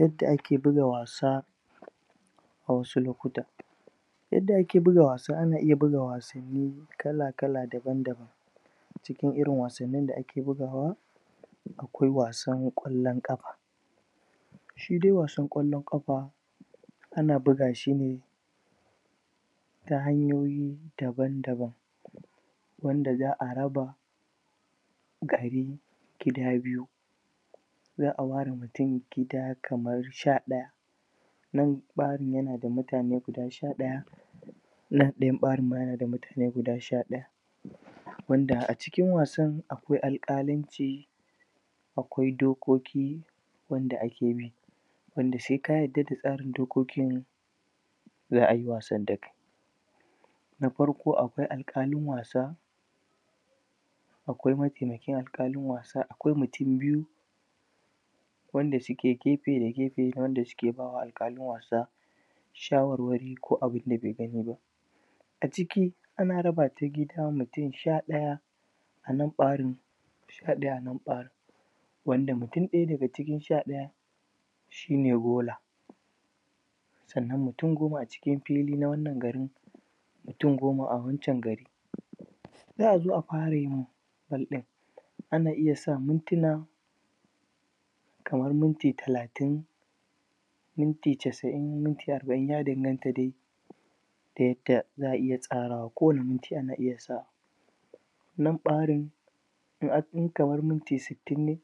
Yadda ake buga wasa, a wasu lokuta yadda ake buga wasa, ana iya buga wasanni kala kala daban daban cikin irin wasannin da ake buga wa akwai wasan kwallon ƙafa Shidai wasan ƙwallon ƙafa ana buga shine Ta hanyoyi Daban daban wanda za'a raba Gari gida biyu za'a ware mutum gida kamar sha daya nan ɓarin yana da mutane guda sha daya nan dayan ɓarin yana da mutane guda sha daya wanda a cikin wasan akwai alƙalanci akwai dokoki wanda ake bi. Wanda saika yarda da tsarin dokokin za'ai wasan dakai na farko akwai alƙalin wasa akwai matemakin alƙalin wasa akwai mutum biyu wanda suke gefe da gefe wanda suke ba alƙalin wasa shawarwari ko abunda bai gani ba a ciki, ana rabata gida mutum sha daya a nan ɓarin sha daya anan ɓarin wanda mutum daya daga cikin sha dayan shine gola sannan mutum goma a cikin fili na wanna gari mutum goma a wancen gari sai azo a fara yi, ana iya sa mintuna kamar minti talatin minti chasa'in minti arba'in ya danganta dai da yadda za'a iya tsarawa kowane minti ana iya sawa nan ɓarin in ankai kaman minti sittin ne,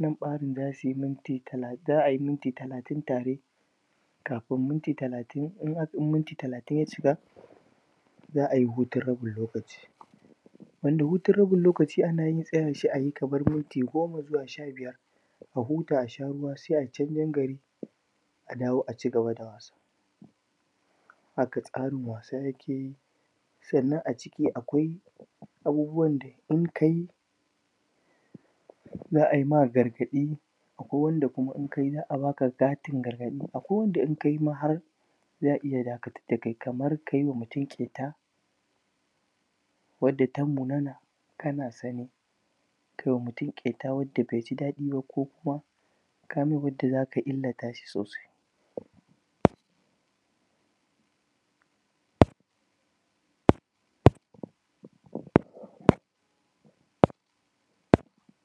nan ɓarin zasuyi minti talatin, za'ai minti talatin tare kafin minti talatin, in akai, in minti talatin ya cika za'ai hutun rabin lokaci wanda hutun rabin lokaci ana yinsa ne sai ayi kamar minti goma zuwa minti sha biyar a huta a sha ruwa sai ayi chanjen gari a dawo a cigaba da wasa Haka tsarin wasan yake sannan a cika akwai abubuwan da In kayi za'ai ma gargaɗi akwai wanda kuma in kayi za'a baka katin gargadi, akwai wanda inkayi ma har za'a iya dakatar dakai kamar kayiwa mutum ƙeta yadda ta raunana kana sane kaima mutum ƙeta yadda baiji dadi ba kokuma kayi bugun da zaka illatashi sosai